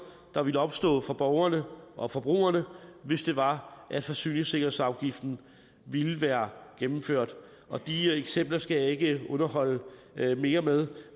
der ville opstå for borgerne og forbrugerne hvis det var at forsyningssikkerhedsafgiften ville være gennemført og de eksempler skal jeg ikke underholde mere med